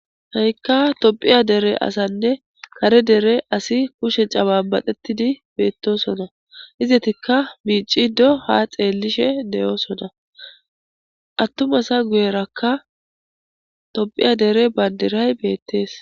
Ta'ikka tobiya dere asanne kare dere asi kushe caba badettidi beettosona izetikka miicido ha xeellishe deyoosona attumasa guyerakka topiya dere bandiray beettees